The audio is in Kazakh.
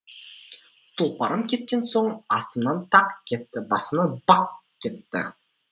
тұлпарым кеткен соң астымнан тақ кетті басымнан бақ кетті